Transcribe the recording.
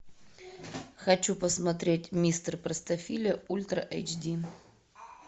хочу посмотреть мистер простофиля ультра эйч ди